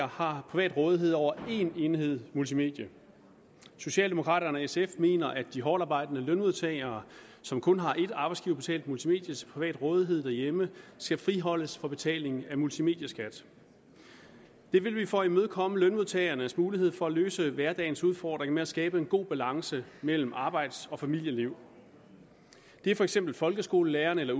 har privat rådighed over en enhed et multimedie socialdemokraterne og sf mener at de hårdtarbejdende lønmodtagere som kun har et arbejdsgiverbetalt multimedie til privat rådighed derhjemme skal friholdes for betaling af multimedieskat det vil vi for at imødekomme lønmodtagernes mulighed for at løse hverdagens udfordring med at skabe en god balance mellem arbejds og familieliv det er for eksempel folkeskolelæreren eller